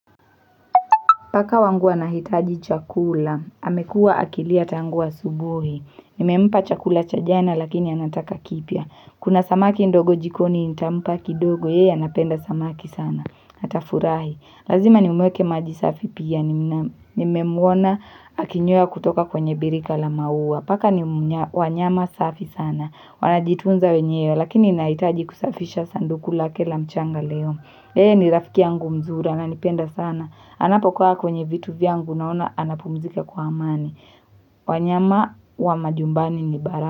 Paka wangu anahitaji chakula, amekua akilia tangu asubuhi, nimempa chakula cha jana lakini anataka kipya, kuna samaki ndogo jikoni nitampa kidogo, yeye anapenda samaki sana, atafurahi, lazima nimweke maji safi pia, nimemwona akinywea kutoka kwenye birika la maua, paka ni wanyama safi sana, wanajitunza wenyewe lakini inahitaji kusafisha sanduku lake la mchanga leo, yeye ni rafikia yangu mzuri ananipenda sana, Anapokaa kwenye vitu vyangu naona, anapumzika kwa amani. Wanyama wa majumbani ni baraka.